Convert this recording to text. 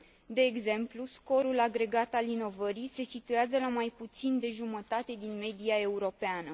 De exemplu, scorul agregat al inovării se situează la mai puțin de jumătate din media europeană.